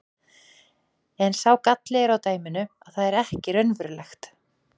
En sá galli er á dæminu að það er ekki raunverulegt.